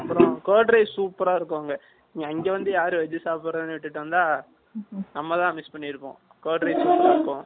அதுக்கு அப்பறம் curd rice super அ இருக்கும் அங்க இங்க வந்து யாரு veg சாப்பிறா இட்டுட்டு வந்தா நம்ம தான் miss பண்ணியிருப்போம் curd rice super அ இருக்கும்